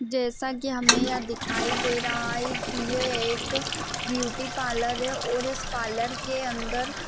जैसा कि हमें यहाँ दिखाई दे रहा है की यह एक ब्यूटी पार्लर है और इस पार्लर के अंदर --